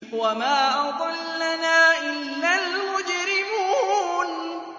وَمَا أَضَلَّنَا إِلَّا الْمُجْرِمُونَ